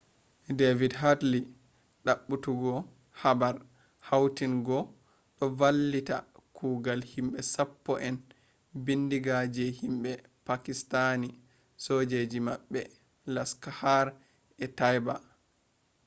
david headley`s dabbutogo habar hautin ga do vallita kogal himbe sapppo en bindiga je himbe pakistanisojoji mabbe laskhar-e-taiba